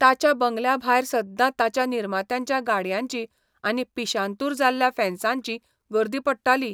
ताच्या बंगल्या भायर सद्दां ताच्या निर्मात्यांच्या गाडयांची आनी पिशांतूर जाल्ल्या फॅन्सांची गर्दी पडटाली.